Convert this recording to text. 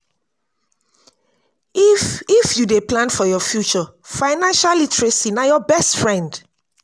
if if you dey plan for your future financial literacy na your best friend